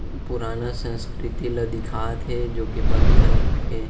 पुराना संस्कृती ल दिखाते जो की पत्थर के --